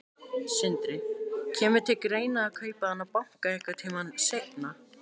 Sindri: Kemur til greina að kaupa þennan banka einhvern tímann seinna?